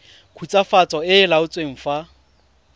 khutswafatso e e laotsweng fa